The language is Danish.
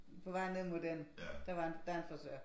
På ved ned mod den der var dér er en frisør